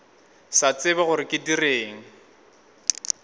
sa tsebe gore ke direng